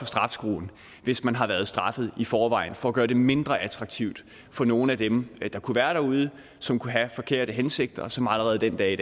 straffeskruen hvis man har været straffet i forvejen for at gøre det mindre attraktivt for nogle af dem der kunne være derude som kunne have forkerte hensigter og som allerede den dag i